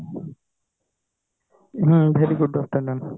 ହୁଁ very good afternoon